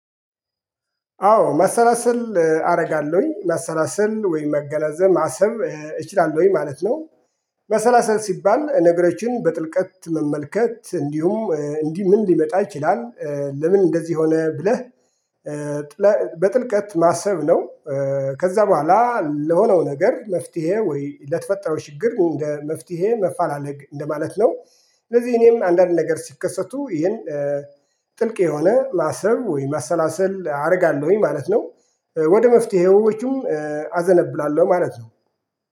አዎ መሰላሰል አደርጋለሁኝ መሰላሰል ወይም ማገናዘብ ማሰብ እችላለሁኝ ማለት ነው። ማሰላሰል ሲባል ነገሮችን በጥልቀት መመልከት እንዲሁም እንዲህ ምን ሊመጣ ይችላል ለምን እንደዚህ ሆነ ብለህ። በጥልቀት ማሰብ ነው። ከዛ በኋላ ለሆነው ነገር መፍትሄ ወይ ለተፈጠረው ችግር እንደ መፍትሄ ማፈላለግ እንደማለት ነው። ስለዚህ እኔም አንዳንድ ነገር ሲከሰቱ ይሄን ጥልቅ የሆነ ማሰብ ወይም ማሰላሰል አደርጋለሁኝ ማለት ነው። ወደ መፍትሄዎቹም አዘነብላለሁ ማለት ነው